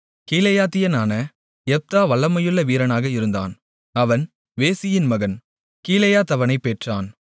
கீலேயாத்தியனான Jephthah வல்லமையுள்ள வீரனாக இருந்தான் அவன் வேசியின் மகன் கிலெயாத் அவனைப் பெற்றான்